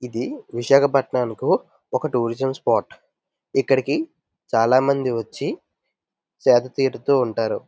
ఇది విశాఖపట్నంకు ఒక టూరిజం స్పాట్ ఇక్కడికి చాల మంది వచ్చి సేద తీరుతుంటారు.